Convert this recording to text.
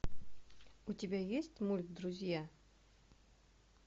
у тебя есть мульт друзья